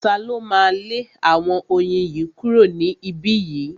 Ta ló máa lé àwọn oyin yìí kúrò ní ibí yìí?